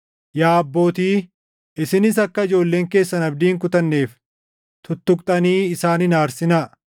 Yaa abbootii, isinis akka ijoolleen keessan abdii hin kutanneef tuttuqxanii isaan hin aarsinaa.